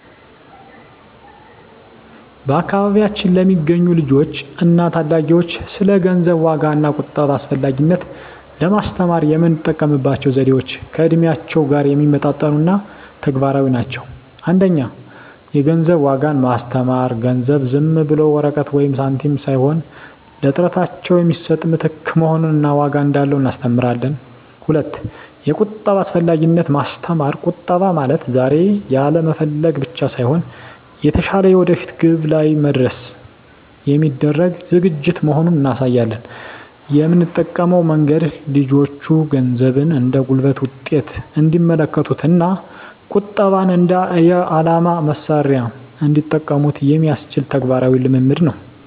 በአካባቢያችን ለሚገኙ ልጆች እና ታዳጊዎች ስለ ገንዘብ ዋጋ እና ቁጠባ አስፈላጊነት ለማስተማር የምንጠቀምባቸው ዘዴዎች ከእድሜያቸው ጋር የሚመጣጠኑ እና ተግባራዊ ናቸው። 1) የገንዘብ ዋጋን ማስተማር ገንዘብ ዝም ብሎ ወረቀት ወይም ሳንቲም ሳይሆን ለጥረታቸው የሚሰጥ ምትክ መሆኑን እና ዋጋ እንዳለው እናስተምራለን። 2)የቁጠባ አስፈላጊነትን ማስተማር ቁጠባ ማለት ዛሬ ያለመፈለግ ብቻ ሳይሆን፣ የተሻለ የወደፊት ግብ ላይ ለመድረስ የሚደረግ ዝግጅት መሆኑን እናሳያለን። የምንጠቀመው መንገድ ልጆቹ ገንዘብን እንደ ጉልበት ውጤት እንዲመለከቱት እና ቁጠባን እንደ የዓላማ መሣሪያ እንዲጠቀሙበት የሚያስችል ተግባራዊ ልምምድ ነው።